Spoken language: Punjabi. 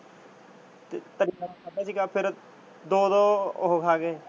ਤੇ ਫਿਰ ਤਰੀ ਵਾਲਾ ਖਾਦਾ ਸੀ ਗਾ ਤੇ ਦੋ ਦੋ ਉਹ ਖਾ ਗਏ।